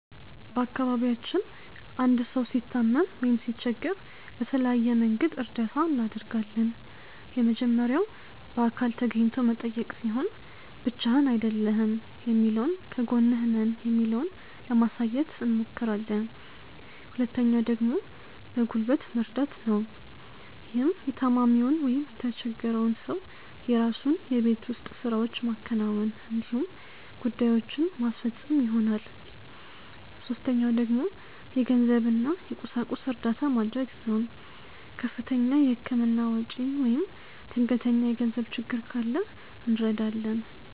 በአካባቢያችን አንድ ሰው ሲታመም ወይም ሲቸገር በተለያየ መንገድ እርዳታ እናደርጋለን። የመጀመሪያው በአካል ተገኝቶ መጠየቅ ሲሆን ብቻህን አይደለህም የሚለውን ከጎንህ ነን የሚለውን ለማሳየት አብሞክራለን። ሁለተኛው ደግሞ በጉልበት መርደት ነው። ይህም የታማሚውን ወይም የተቸፈረውን ሰው የራሱን የቤት ውስጥ ስራዎች ማከናወን እንዲሁም ጉዳዬችን ማስፈፀን ይሆናል። ሶስተኛው ደግሞ የገንዘብ እና የቁሳቁስ እርዳታ መድረግ ነው። ከፍተኛ የህክምና ወጪ ወይም ድንገተኛ የገንዘብ ችግር ካለ እንረዳለን።